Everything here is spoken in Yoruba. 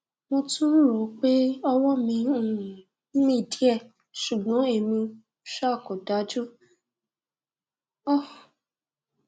mo tún ń ròó pé ọwọ mi ń um mì díẹ ṣùgbọn èmi um kò dájú um